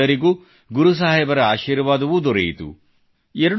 ನಮ್ಮೆಲ್ಲರಿಗೂ ಗುರು ಸಾಹೇಬರ ಆಶೀರ್ವಾದವೂ ದೊರೆಯಿತು